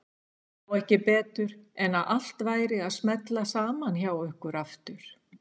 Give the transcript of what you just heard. Sá ekki betur en að allt væri að smella saman hjá ykkur aftur.